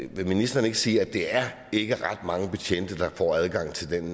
vil ministeren ikke sige at det ikke er ret mange betjente der får adgang til den